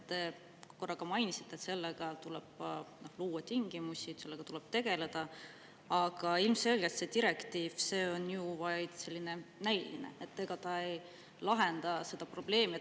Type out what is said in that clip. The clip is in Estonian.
Te korra mainisite, et selleks tuleb luua tingimused ja sellega tegeleda, aga see direktiiv on ju vaid näiline, ta ei lahenda seda probleemi.